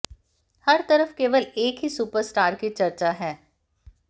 हर तरफ केवल एक ही सुपरस्टार की चर्चा है